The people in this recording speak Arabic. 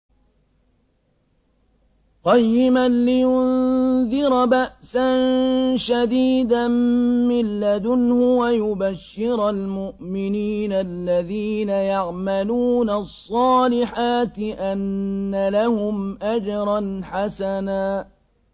قَيِّمًا لِّيُنذِرَ بَأْسًا شَدِيدًا مِّن لَّدُنْهُ وَيُبَشِّرَ الْمُؤْمِنِينَ الَّذِينَ يَعْمَلُونَ الصَّالِحَاتِ أَنَّ لَهُمْ أَجْرًا حَسَنًا